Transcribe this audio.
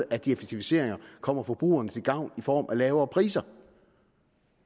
at de effektiviseringer kommer forbrugerne til gavn i form af lavere priser